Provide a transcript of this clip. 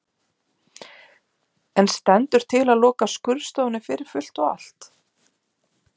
En stendur til að loka skurðstofunni fyrir fullt og allt?